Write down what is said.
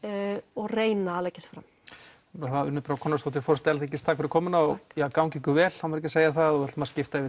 og reyna að leggja sig fram Unnur Brá Konráðsdóttir forseti Alþingis takk fyrir komuna og gangi ykkur vel á maður ekki að segja það við ætlum að skipta yfir